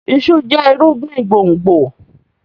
iṣu jẹ irúgbìn gbòngbò.